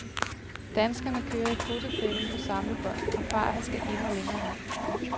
Danskerne kører i fotofælden på samlebånd, og farten skal endnu længere ned.